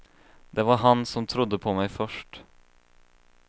Det var han som trodde på mig först.